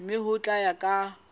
mme ho tla ya ka